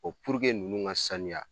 ninnu ŋa saniya